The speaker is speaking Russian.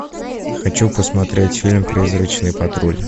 хочу посмотреть фильм призрачный патруль